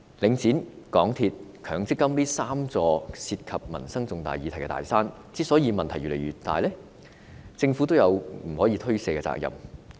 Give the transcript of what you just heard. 領展、港鐵和強積金這三座涉及民生重大議題的"大山"問題越積越大，政府有不可推卸的責任。